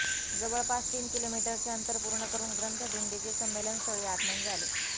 जवळपास तीन किलोमीटरचे अंतर पूर्ण करून ग्रंथदिंडीचे संमेलनस्थळी आगमन झाले